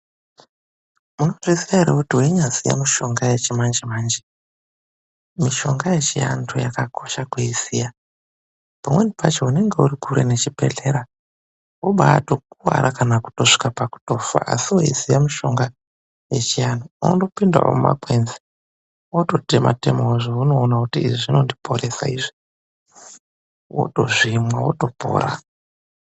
Munozviziya ere kuti weinyaziya mishonga yechimanje manje mishonga yechianhu ykakosha kuiziya. Mikuwo imweni unenge usiri pasinde nechibhehlera aungazofi weiziya mutombo unotochochawo mumashangomwo weitsvaka mitombo womwa wopona .